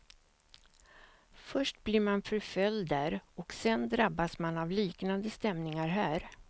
Först blir man förföljd där och sen drabbas man av liknande stämningar här.